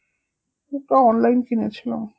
ওটা online কিনেছিলাম